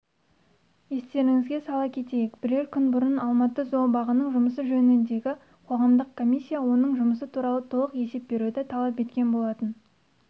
естеріңізге сала кетейік бірер күн бұрын алматы зообағының жұмысы жөніндегі қоғамдық комиссия оның жұмысы туралы толық есеп беруді талап еткен болатын